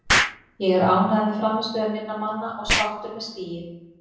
Ég er ánægður með frammistöðu minna manna og sáttur með stigið.